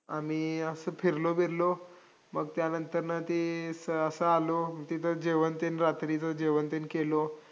आम्ही असं फिरलो बिरलो. मग त्यानंतरनं ते स असं आलो, तिथं जेवण तेन रात्रीचं जेवण तेन केलो.